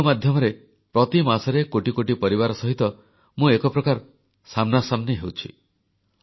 radio ମାଧ୍ୟମରେ ପ୍ରତି ମାସରେ କୋଟି କୋଟି ପରିବାର ସହିତ ମୁଁ ଏକ ପ୍ରକାର ସାମ୍ନାସାମ୍ନି କରୁଛି